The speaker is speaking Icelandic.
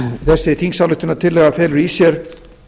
þessi þingsályktunartillaga felur í sér